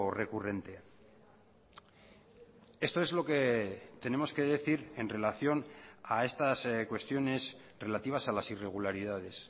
recurrente esto es lo que tenemos que decir en relación a estas cuestiones relativas a las irregularidades